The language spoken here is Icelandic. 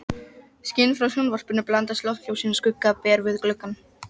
Þeir voru frá Lóni í Kelduhverfi.